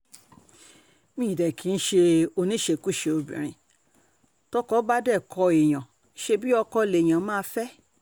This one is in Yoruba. mi ò dé kì í ṣe oníṣekúṣe obìnrin tọ́kọ bá dé kó èèyàn ṣẹ̀bi ọkọ lèèyàn máa fẹ́